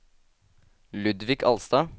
Ludvig Alstad